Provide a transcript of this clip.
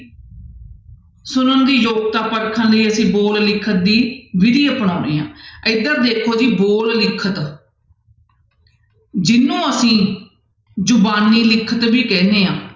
ਸੁਣਨ ਦੀ ਯੋਗਤਾ ਪਰਖਣ ਲਈ ਅਸੀਂ ਬੋਲ ਲਿਖਤ ਦੀ ਵਿਧੀ ਅਪਣਾਉਂਦੇ ਹਾਂ ਇੱਧਰ ਦੇਖੋ ਜੀ ਬੋਲ ਲਿਖਤ ਜਿਹਨੂੰ ਅਸੀਂ ਜ਼ੁਬਾਨੀ ਲਿਖਤ ਵੀ ਕਹਿੰਦੇ ਹਾਂ।